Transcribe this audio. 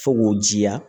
Fo k'o jiya